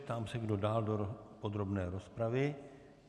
Ptám se, kdo dál do podrobné rozpravy.